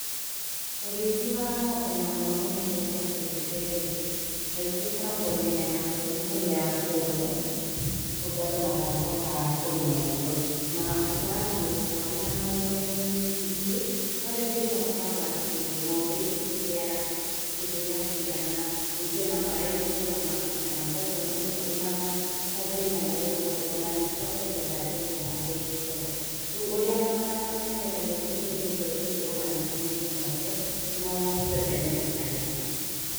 Ũrĩithi wa ng'ombe ma mũno mũno iria cia kĩndũire rĩ kaingĩ ikoragwo mĩena ya bũrũri kũrĩa kũmũ kũndũ andũ matangĩhota kũrĩma irio na ũkoraga mũndũ ũmwe arĩ na ng'ombe nyingĩ no rĩu thĩna ũkoragwo atĩ ng'ombe ici itirĩaga kĩndũ gĩa kũigana rĩngĩ ona maĩ itirona ma kũigana kwoguo ona mũndũ arĩ na ng'ombe igana rĩmwe rĩ ona angĩtua kwendia ndangĩendia na mbei njega, rĩu ũrĩa mageragia gũteithĩrĩrio rĩ nĩ kwĩrwo manyihanyihie ng'ombe no ti othe metĩkagĩra.